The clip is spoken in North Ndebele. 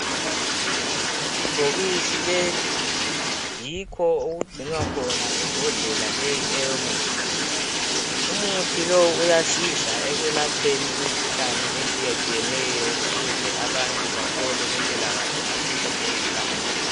Ibhokisi leli yikho okugcinwa khona imbodlela leyi eyomjthi. Umuthi lowu uyasiza ekwelapheni imikhuhlane etshiyetshiyeneyo ukuze abantu bathole impilakahle ngaso sonke isikhathi.